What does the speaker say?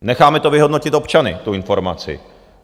Necháme to vyhodnotit občany, tu informaci.